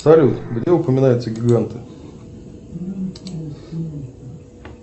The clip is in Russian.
салют где упоминаются гиганты